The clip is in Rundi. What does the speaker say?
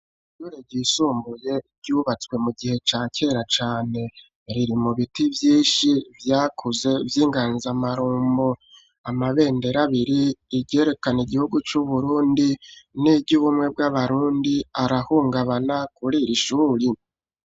Iyure gisumbuye ryubatswe mu gihe ca kera cane riri mu biti vyinshi vyakuze vy'inganzamarumbo amabendero abiri igerekana igihugu c'uburundi n'iryo ubumwe bw'abarundi arahungabana kuri ira ishuri.